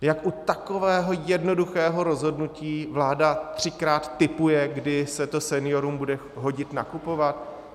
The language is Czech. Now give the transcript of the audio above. Jak u takového jednoduchého rozhodnutí vláda třikrát tipuje, kdy se to seniorům bude hodit nakupovat.